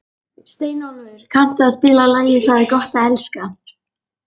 Steinólfur, kanntu að spila lagið „Það er gott að elska“?